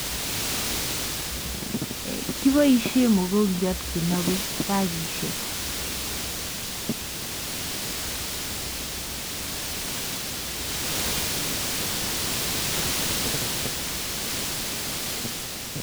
Kiboishe mokongyot kenobei bakishek